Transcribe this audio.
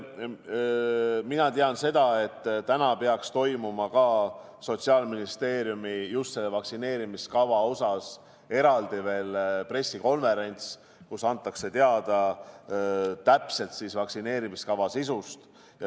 Mina tean seda, et täna peaks toimuma Sotsiaalministeeriumis selle vaktsineerimiskava osas eraldi veel pressikonverents, kus antakse teada vaktsineerimiskava täpsest sisust.